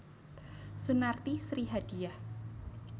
Sunarti Sri Hadiyah